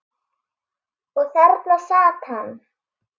Og þarna sat hann.